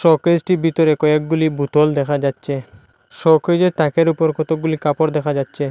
শোকেজটির ভিতরে কয়েকগুলি বোতল দেখা যাচ্ছে শোকেজের তাকের উপর কতকগুলি কাপড় দেখা যাচ্ছে।